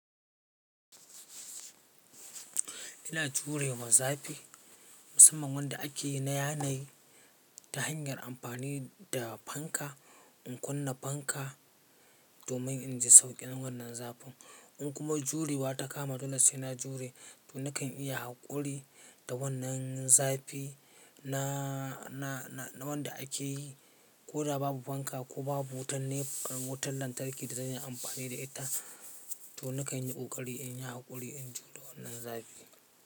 Ina jurewa zafi musamman wanda ake yi na yanayi ta hanyar amfani da fanka. In kunna fanka domin in ji sauƙin wannan zafin in kuma jurewa ta kama dole sai na jure to nakan iya haƙuri da wannan zafi na, na, na wanda ake yi ko da babu fanka ko babu wutar ne wutar lantarki da zan yi amfani da ita to nakan yi ƙoƙari in yi haƙuri in jure wannan zafi.